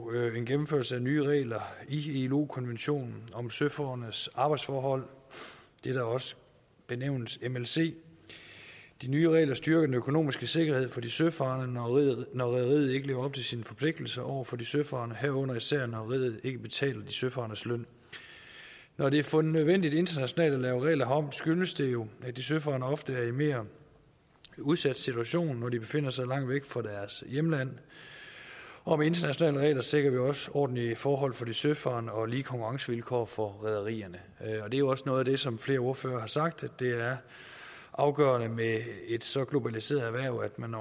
er en gennemførelse af nye regler i ilo konventionen om søforordnedes arbejdsforhold det der også benævnes mlc de nye regler styrker den økonomiske sikkerhed for de søfarende når rederiet ikke lever op til sine forpligtelser over for de søfarende herunder især når rederiet ikke betaler de søfarendes løn når det er fundet nødvendigt internationalt at lave regler herom skyldes det jo at de søfarende ofte er i en mere udsat situation når de befinder sig langt væk fra deres hjemland og med internationale regler sikrer vi også ordentlige forhold for de søfarende og lige konkurrencevilkår for rederierne det er jo også noget af det som flere ordførere har sagt nemlig at det er afgørende med et så globaliseret erhverv at man